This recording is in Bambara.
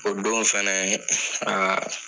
O don fɛnɛ aa